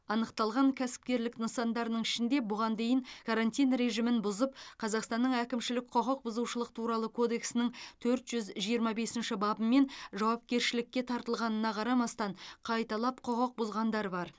анықталған кәсіпкерлік нысандарының ішінде бұған дейін карантин режимін бұзып қазақстанның әкімшілік құқықбұзушылық туралы кодекстің төрт жүз жиырма бесінші бабымен жауапкершілікке тартылғанына қарамастан қайталап құқық бұзғандар бар